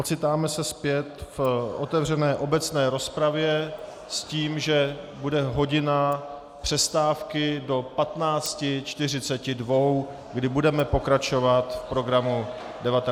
Ocitáme se zpět v otevřené obecné rozpravě s tím, že bude hodina přestávky do 15.42, kdy budeme pokračovat v programu 19. schůze.